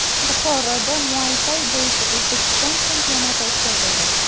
Buxoroda muaytay bo‘yicha O‘zbekiston chempionati o‘tkazildi.